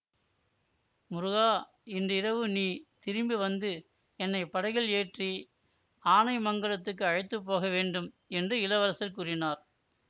முருகா இன்றிரவு நீ திரும்பி வந்து என்னை படகில் ஏற்றி ஆனைமங்கலத்துக்கு அழைத்துப்போக வேண்டும் என்று இளவரசர் கூறினார்